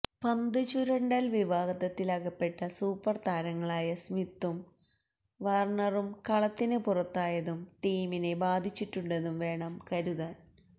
പന്ത് ചുരണ്ടല് വിവാദത്തിലകപ്പെട്ട് സൂപ്പര് താരങ്ങളായ സ്മിത്തും വാര്ണറും കളത്തിന് പുറത്തായതും ടീമിനെ ബാധിച്ചിട്ടുണ്ടെന്ന് വേണം കരുതാന്